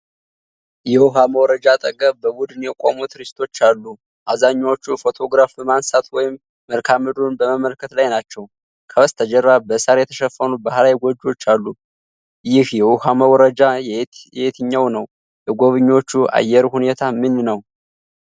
የውሃ መውረጃ አጠገብ በቡድን የቆሙ ቱሪስቶች አሉ። አብዛኛዎቹ ፎቶግራፍ በማንሳት ወይም መልክዓ ምድሩን በመመልከት ላይ ናቸው። ከበስተጀርባ በሳር የተሸፈኑ ባህላዊ ጎጆዎች አሉ። ይህ የውሃ መውረጃ የትኛው ነው? የጎብኚዎቹ የአየር ሁኔታ ምን ነው?